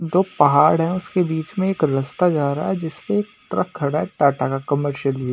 दो पहाड़ है उसके बीच में एक रस्ता जा रहा है जिस पे एक ट्रक खड़ा है टाटा का कॉमर्शियल लि --